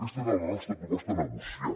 aquesta era la nostra proposta a negociar